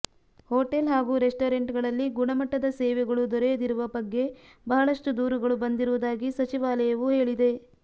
hotel ಹಾಗೂ ರೆಸ್ಟೋರೆಂಟ್ಗಳಲ್ಲಿ ಗುಣಮಟ್ಟದ ಸೇವೆಗಳು ದೊರೆಯದಿರುವ ಬಗ್ಗೆ ಬಹಳಷ್ಟು ದೂರುಗಳು ಬಂದಿರುವುದಾಗಿ ಸಚಿವಾಲಯವು ಹೇಳಿದೆ